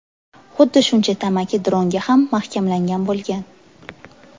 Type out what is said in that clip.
Xuddi shuncha tamaki dronga ham mahkamlangan bo‘lgan.